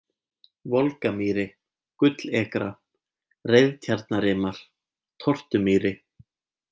Volgamýri, Gullekra, Reiðtjarnarrimar, Tortumýri